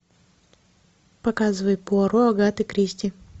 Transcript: показывай пуаро агаты кристи